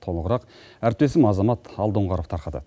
толығырақ әріптесім азамат алдоңғаров тарқатады